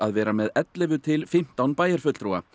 vera með ellefu til fimmtán bæjarfulltrúa